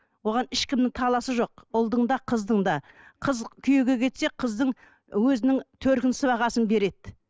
оған ешкімнің таласы жоқ ұлдың да қыздың да қыз күйеуге кетсе қыздың өзінің төркін сыбағасын береді